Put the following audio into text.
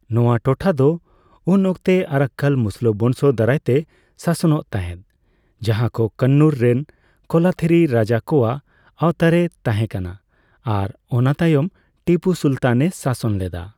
ᱱᱚᱣᱟ ᱴᱚᱴᱷᱟ ᱫᱚ ᱩᱱ ᱚᱠᱛᱮ ᱟᱨᱟᱠᱠᱟᱞ ᱢᱩᱥᱞᱟᱹ ᱵᱚᱝᱥᱚ ᱫᱟᱨᱟᱭᱛᱮ ᱥᱟᱥᱚᱱᱚᱜ ᱛᱟᱦᱮᱸᱫ, ᱡᱟᱦᱟᱸᱭ ᱠᱚ ᱠᱟᱱᱱᱩᱨ ᱨᱮᱱ ᱠᱳᱞᱟᱛᱷᱤᱨᱤ ᱨᱟᱡᱟ ᱠᱚᱣᱟᱜ ᱟᱣᱛᱟᱨᱮ ᱛᱟᱦᱮᱸᱠᱟᱱᱟ ᱟᱨ ᱚᱱᱟ ᱛᱟᱭᱚᱢ ᱴᱤᱯᱩ ᱥᱩᱞᱛᱟᱱ ᱮ ᱥᱟᱥᱚᱱ ᱞᱮᱫᱟ ᱾